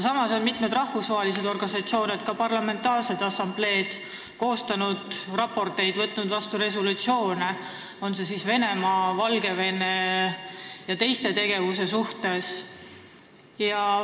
Samas on mitmed rahvusvahelised organisatsioonid, ka parlamentaarsed assambleed koostanud raporteid ja võtnud vastu resolutsioone Venemaa, Valgevene ja teiste tegevuse kohta.